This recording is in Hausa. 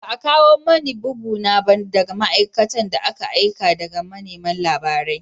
Ba a kawo mani bugu na ba daga ma’aikatan da aka aika daga manema labarai